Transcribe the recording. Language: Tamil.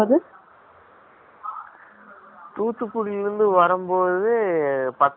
தூத்துக்குடியில இருந்து வரும்போது, பத்தரை மணிக்கு bus கிடைச்சுது.